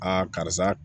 karisa